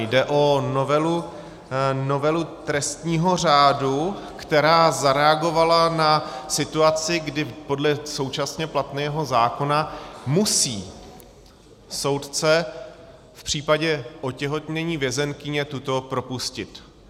Jde o novelu trestního řádu, která zareagovala na situaci, kdy podle současně platného zákona musí soudce v případě otěhotnění vězeňkyně tuto propustit.